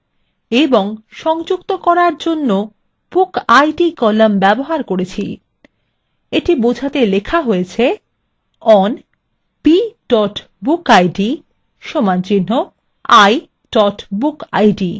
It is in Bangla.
এবং সংযুক্ত করার জন্য bookid column ব্যবহার করেছি এটি বোঝাতে লেখা হয়েছে: